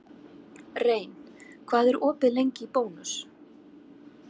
Rein, hvað er opið lengi í Bónus?